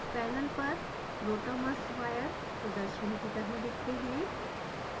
panel पर rotamers wire प्रदर्शन की तरह दिखते हैं